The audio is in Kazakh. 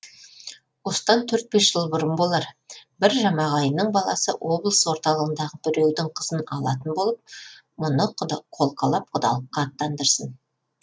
осыдан төрт бес жыл бұрын болар бір жамағайынның баласы облыс орталығындағы біреудің қызын алатын болып мұны қолқалап құдалыққа аттандырсын